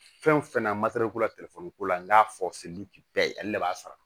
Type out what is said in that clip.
Fɛn o fɛn na ko la telefɔni ko la n k'a fɔ sirili bɛɛ ye ale de b'a sara